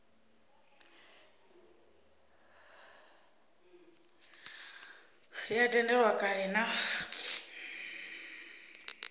e a tendelwa kale na